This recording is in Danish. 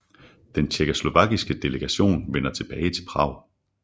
Den tjekkoslovakiske delegation vender tilbage til Prag